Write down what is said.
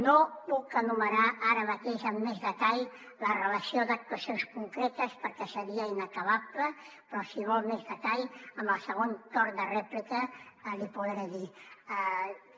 no puc enumerar ara mateix amb més detall la relació d’actuacions concretes perquè seria inacabable però si vol més detall en el segon torn de rèplica l’hi podré dir